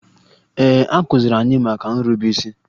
Ee, a kụziri anyị maka nrube isi